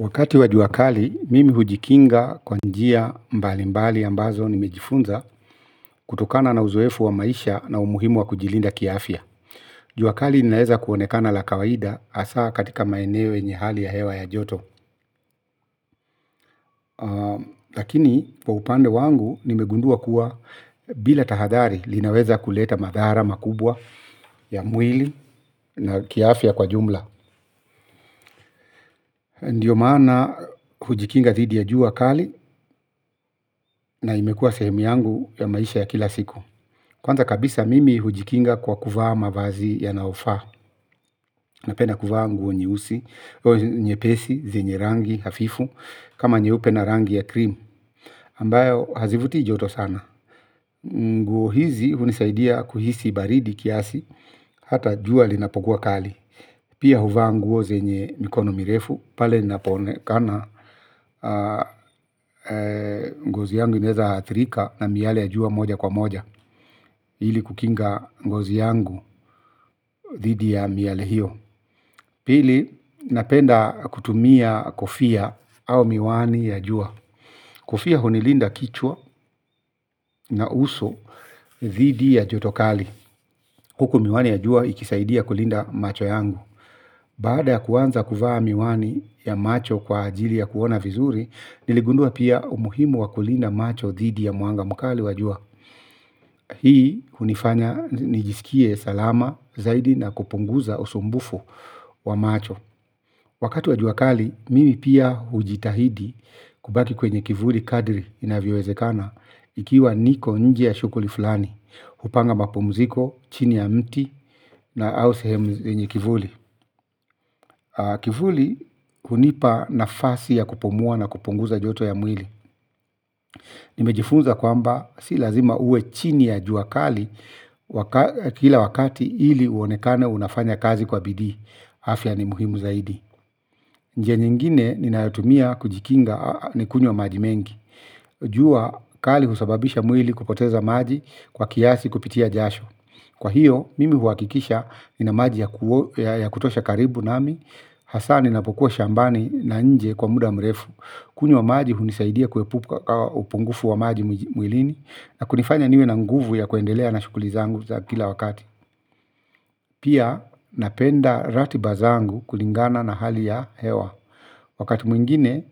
Wakati wa jua kali, mimi hujikinga kwa njia mbalimbali ambazo nimejifunza kutokana na uzoefu wa maisha na umuhimu wa kujilinda kiafya. Juakali linaeza kuonekana la kawaida hasaa katika maeneo yenye hali ya hewa ya joto. Lakini, kwa upande wangu nimegundua kuwa bila tahadari linaweza kuleta madhara makubwa ya mwili na kiafya kwa jumla. Ndiyo maana hujikinga dhidi ya jua kali na imekua sehemu yangu ya maisha ya kila siku kwanza kabisa mimi hujikinga kwa kuvaa mavazi yanaofaa napenda kuvaa nguo nyeusi, nye pesi, zenye rangi hafifu kama nyeupe na rangi ya krim ambayo hazivutii joto sana nguo hizi hunisaidia kuhisi baridi kiasi hata jua linapokua kali pia huvaa nguo zenye mikono mirefu pale inapoonekana ngozi yangu inaeza athirika na miale ya jua moja kwa moja ili kukinga ngozi yangu dhidi ya miale hiyo pili napenda kutumia kofia au miwani ya jua kofia hunilinda kichwa na uso dhidi ya jotokali huku miwani ya jua ikisaidia kulinda macho yangu, baada ya kuanza kuvaa miwani ya macho kwa ajili ya kuona vizuri. Niligundua pia umuhimu wakulinda macho dhidi ya mwanga mkali wa jua hii hunifanya nijisikie salama zaidi na kupunguza usumbufu wa macho wakati wa jua kali mimi pia hujitahidi kubaki kwenye kivuli kadri inavyowezekana ikiwa niko nje ya shughuli fulani hupanga mapumziko chini ya mti au sehemu yenye kivuli kivuli hunipa nafasi ya kupumua na kupunguza joto ya mwili nimejifunza kwamba si lazima uwe chini ya jua kali kila wakati ili uonekane unafanya kazi kwa bidii. Afya ni muhimu zaidi. Njia nyingine ninayotumia kujikinga ni kunywa maji mengi. Jua kali husababisha mwili kupoteza maji kwa kiasi kupitia jasho. Kwa hiyo, mimi huwakikisha nina maji ya kutosha karibu nami, hasaa ninapokuwa shambani na nje kwa muda mrefu, kunywa maji hunisaidia kuepuka upungufu wa maji mwilini, na kunifanya niwe na nguvu ya kuendelea na shughuli zangu za kila wakati. Pia napenda ra tibazangu kulingana na hali ya hewa wakati mwingine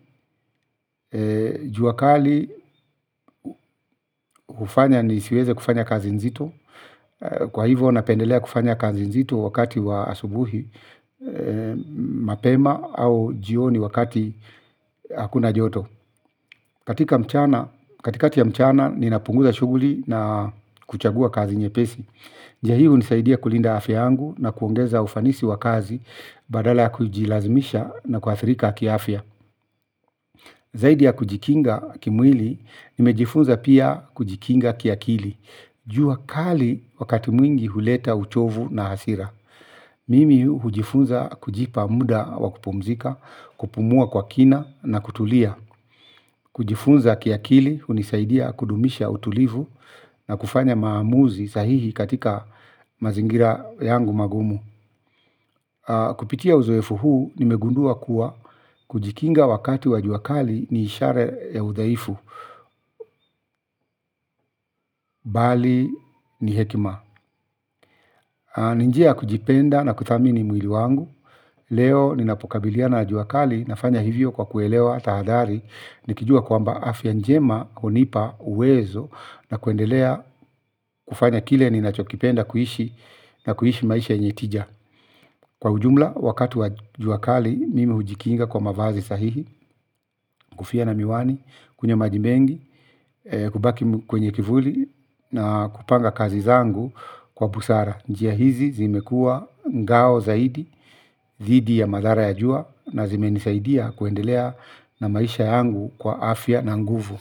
juwakali ufanya ni siweze kufanya kazi nzito kwa hivyo napendelea kufanya kazi nzito wakati wa asubuhi mapema au jioni wakati hakuna joto katika mchana, katikati ya mchana ninapunguza shughuli na kuchagua kazi nyepesi njiahii hunisaidia kulinda afya angu na kuongeza ufanisi wakazi badala kujilazimisha na kuathrika kiafya. Zaidi ya kujikinga kimwili, nimejifunza pia kujikinga kiakili. Jua kali wakati mwingi huleta uchovu na hasira. Mimi hujifunza kujipa muda wakupumzika, kupumua kwa kina na kutulia. Kujifunza kiakili hunisaidia kudumisha utulivu na kufanya maamuzi sahihi katika mazingira yangu magumu kupitia uzoefu huu nimegundua kuwa kujikinga wakati wajuwakali ni ishara ya udhaifu bali ni hekima ninjia ya kujipenda na kuthamini mwili wangu leo ninapokabiliana na jua kali nafanya hivyo kwa kuelewa tahadhari. Nikijua kwa mba afya njema hunipa uwezo na kuendelea kufanya kile ninachokipenda kuishi na kuishi maisha yenye tija kwa ujumla wakati wa juakali mimi hujikinga kwa mavazi sahihi, kofia na miwani, kunywa majimengi, kubaki kwenye kivuli na kupanga kazi zangu kwa busara njia hizi zimekua ngao zaidi, dhidi ya madhara ya jua na zimenisaidia kuendelea na maisha yangu kwa afya na nguvu.